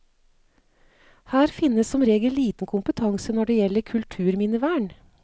Her finnes som regel liten kompetanse når det gjelder kulturminnevern.